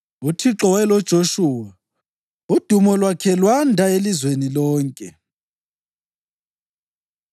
UThixo wayeloJoshuwa, udumo lwakhe lwanda elizweni lonke.